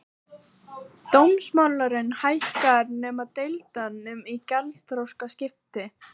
Dómsmálum fækkar nema deilum um gjaldþrotaskipti